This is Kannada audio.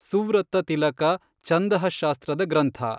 ಸುವೃತ್ತತಿಲಕ ಛಂದಃಶಾಸ್ತ್ರದ ಗ್ರಂಥ.